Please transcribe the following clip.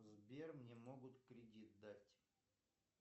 сбер мне могут кредит дать